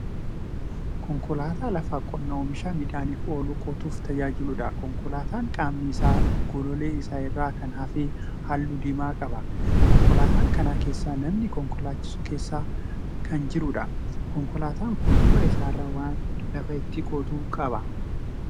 Konkolaataa lafa qonnaa oomisha midhaaniif oolu qotuuf tajaajiluudha. Konkolaataan qaamni isaa golollee isaa irraa kan hafe halluu diimaa qaba. Konkolaataa kana keessa namni konkolaachisu keessa kan jiruudha. Konkolaataan kun duuba isaa irraa waan lafa ittin qotu qaba.